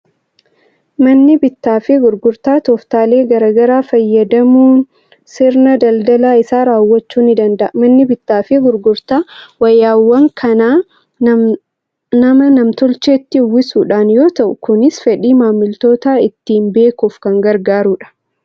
Manni bittaa fi gurgurtaa tooftaalee garaa garaa fayyadamuunsirna daldala isaa raawwachuu ni danda'a. Manni bittaa fi gurgurtaa wayyaawwan kanaa, nama na-tolcheetti uwwisuudhaan yoo ta'u, kunis fedhii maamiltootaa ittiin beekuuf kan gargaarudha.